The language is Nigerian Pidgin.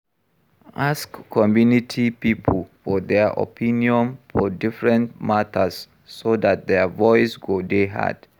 Ask community pipo for their opinion for different matters so dat their voice go dey heard